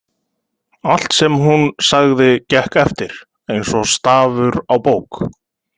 Allt sem hún sagði gekk eftir, eins og stafur á bók.